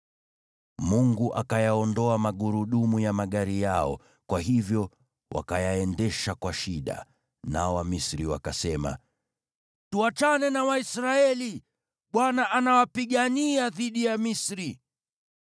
Mungu akayaondoa magurudumu ya magari yao, kwa hivyo wakayaendesha kwa shida. Nao Wamisri wakasema, “Tuachane na Waisraeli! Bwana anawapigania dhidi ya Misri.”